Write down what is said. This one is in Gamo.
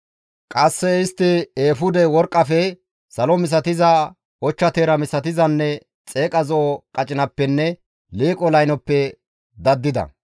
Qasse istti eefude worqqafe, salo misatiza, ochcha teera misatizanne xeeqa zo7o qacinappenne liiqo laynoppe daddida.